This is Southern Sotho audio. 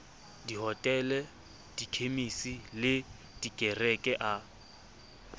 dihotele dikhemisi le dikereke a